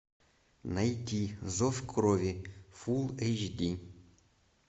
найти зов крови фул эйч ди